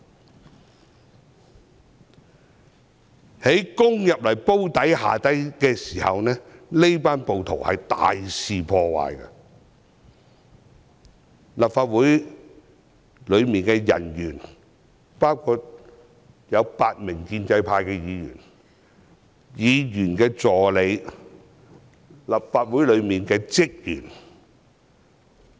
這群暴徒攻入"煲底"後更大肆破壞，當時，立法會內的人員包括8名建制派議員，還有議員助理和立法會職員。